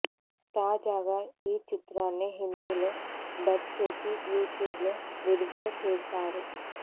తాజాగా ఈ చిత్రాన్ని హిందీలో డబ్ చేసి యూట్యూబ్లో విడుదల చేసారు